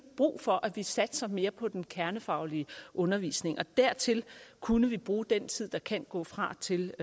brug for at vi satser mere på den kernefaglige undervisning og dertil kunne vi bruge den tid der kan gå fra til